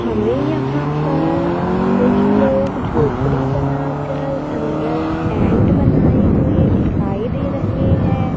हमें यहां पर कुछ लोग झोपड़ी बनाकर अंदर टेंट बनाए हुए दिखाई दे रहे है।